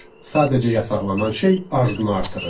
Sadəcə yasaqlanan şey arzunu artırır.